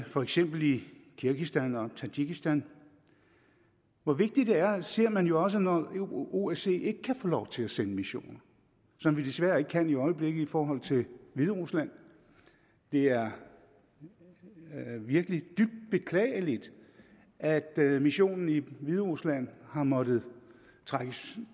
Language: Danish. for eksempel i kirgisistan og tadsjikistan hvor vigtigt det er ser man jo også når osce ikke kan få lov til at sende missioner som de desværre ikke kan i øjeblikket i forhold til hviderusland det er virkelig dybt beklageligt at missionen i hviderusland har måttet trækkes